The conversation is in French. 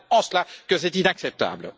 C'est en cela que c'est inacceptable.